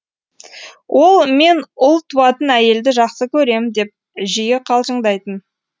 ол мен ұл туатын әйелді жақсы көрем деп жиі қалжыңдайтын